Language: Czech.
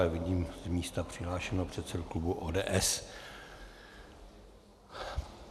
Ale vidím z místa přihlášeného předsedu klubu ODS.